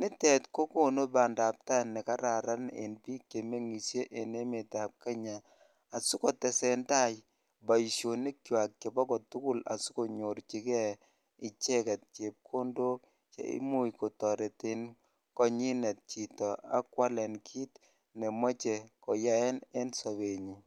nitet ko konu bandab taai nekararan en biik chemeng'ishe en emetab Kenya asikotesentai boishonikwak chebo kotukul asikonyorchike icheket chepkondok cheimuch kotoreten konyinet chito ak kwaeen kiit nemoche koyaen en sobenyin.